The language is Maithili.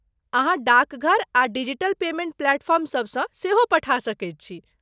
अहाँ डाकघर आ डिजीटल पेमेंट प्लेटफॉर्म सभसँ सेहो पठा सकैत छी।